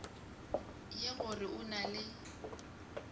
ye gore o na le